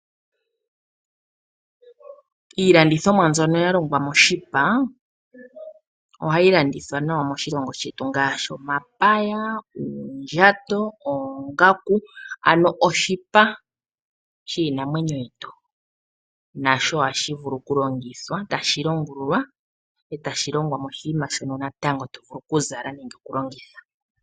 Iilandithomwa mbyono ya longwa moshipa, ohayi landithwa nawa moshilongo shetu ngaashi omapaya, uundjato, oongaku. Ano oshipa shiinamwenyo yetu nasho ohashi vulu kulongithwa tashi longululwa etashi longwa moshinima shono natango to vulu kuzala nande oku longitha.